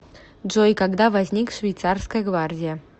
джой когда возник швейцарская гвардия